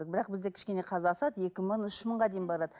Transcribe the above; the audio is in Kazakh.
бірақ бізде кішкене қазір асады екі мың үш мыңға дейін барады